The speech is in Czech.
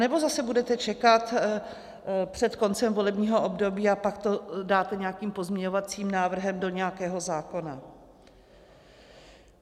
Anebo zase budete čekat před koncem volebního období a pak to dáte nějakým pozměňovacím návrhem do nějakého zákona?